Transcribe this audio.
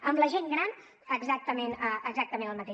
amb la gent gran exactament el mateix